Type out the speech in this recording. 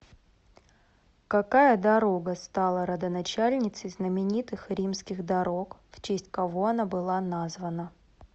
какая дорога стала родоначальницей знаменитых римских дорог в честь кого она была названа